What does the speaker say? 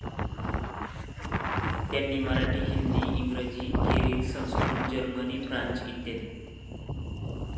त्यांनी मराठी, हिंदी, इंग्रजी खेरीज संस्कृत, जर्मन, फ्रेंच इ.